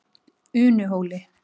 Unuhóli